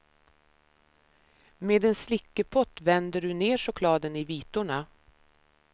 Med en slickepott vänder du ner chokladen i vitorna.